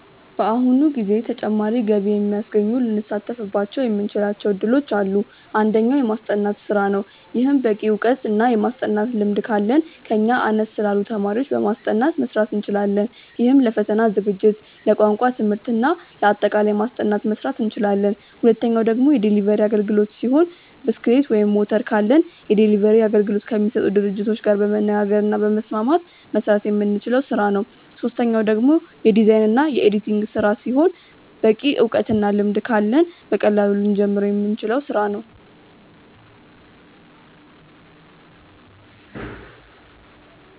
በአሁኑ ጊዜ ተጨማሪ ገቢ የሚያስገኙ ልንሳተፍባቸው የምንችላቸው እድሎች አሉ። አንደኛው። የማስጠናት ስራ ነው። ይህም በቂ እውቀት እና የማስጠናት ልምድ ካለን ከኛ አነስ ላሉ ተማሪዎች በማስጠናት መስራት እንችላለን። ይህም ለፈተና ዝግጅት፣ ለቋንቋ ትምህርት እና ለአጠቃላይ ማስጠናት መስራት እንችላለን። ሁለተኛው ደግሞ የዴሊቨሪ አግልግሎት ሲሆን ብስክሌት ወይም ሞተር ካለን የዴሊቨሪ አገልግሎት ከሚሰጡ ድርጅቶች ጋር በመነጋገር እና በመስማማት መስራት የምንችለው ስራ ነው። ሶስተኛው ደግሞ የዲዛይን እና የኤዲቲንግ ስራ ሲሆን በቂ እውቀት እና ልምድ ካለን በቀላሉ ልንጀምረው የምንችለው ስራ ነው።